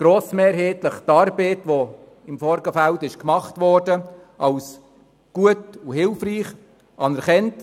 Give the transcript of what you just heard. Grossmehrheitlich haben wir die Arbeit, die im Vorfeld geleistet wurde, als gut und hilfreich anerkannt.